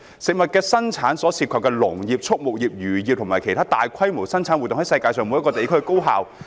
食物的生產所涉及的農業、畜牧業、漁業等的生產活動在世界每一個地區進行。